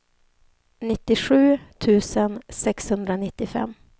nittiosju tusen sexhundranittiofem